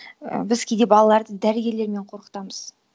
ііі біз кейде балаларды дәрігерлермен қорқытамыз